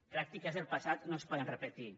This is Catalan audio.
pràctiques del passat no es poden repetir